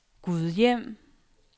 Gudhjem